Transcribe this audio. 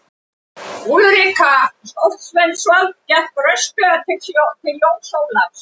Úlrika Stoltzenwald gekk rösklega til Jóns Ólafs.